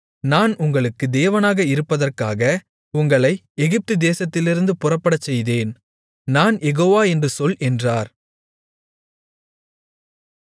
நான் உங்களுக்கு தேவனாக இருப்பதற்காக உங்களை எகிப்துதேசத்திலிருந்து புறப்படச்செய்தேன் நான் யெகோவா என்று சொல் என்றார்